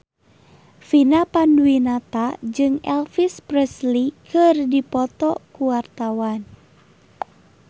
Vina Panduwinata jeung Elvis Presley keur dipoto ku wartawan